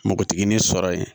Npogotiginin sɔrɔ yen